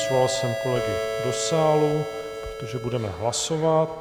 Svolal jsem kolegy do sálu, protože budeme hlasovat.